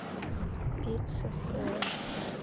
пицца с сыром